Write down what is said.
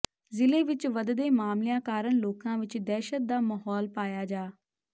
ਜ਼ਿਲ੍ਹੇ ਵਿਚ ਵਧਦੇ ਮਾਮਲਿਆਂ ਕਾਰਨ ਲੋਕਾਂ ਵਿਚ ਦਹਿਸ਼ਤ ਦਾ ਮਾਹੌਲ ਪਾਇਆ ਜਾ